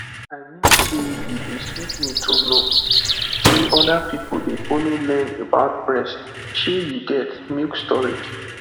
i mean say e dey sweet me to know say other people dey follow learn about breast shey you get milk storage